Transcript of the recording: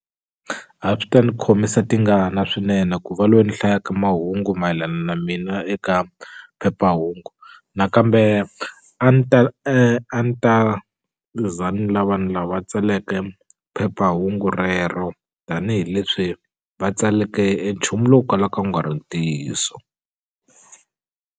A swi ta ni khomisa tingana swinene ku va loyi ni hlayaka mahungu mayelana na mina eka phephahungu nakambe a ni ta a ni ta za ni lava tsaleke phephahungu rero tanihileswi va tsaleke e nchumu lowu kalaka wu nga ri ntiyiso.